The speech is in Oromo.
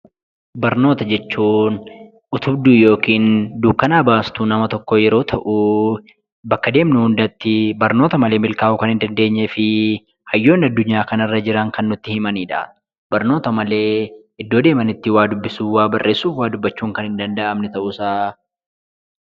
Barnoota jechuun utubduu yookiin dukkanaa baastuu nama tokkoo yeroo ta'uu bakka deemnu hundattii barnoota malee milkaa'uu kan hin dandeenyee fii hayyoonni addunyaa kanarra jiran kan nutti himanidha. Barnoota malee iddoo deemanitti waa dubbisuu, waa barreessuuf waa dubbachuun kan hin danda'amne ta'uusaa.